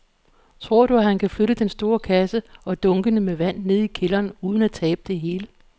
Tror du, at han kan flytte den store kasse og dunkene med vand ned i kælderen uden at tabe det hele?